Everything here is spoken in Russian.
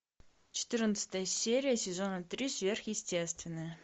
четырнадцатая серия сезона три сверхъестественное